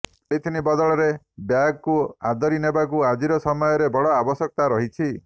polythene ବଦଳରେ ବ୍ୟାଗ୍କୁ ଆଦରି ନେବାକୁ ଆଜିର ସମୟରେ ବଡ଼ ଆବଶ୍ୟକତା ରହିଛି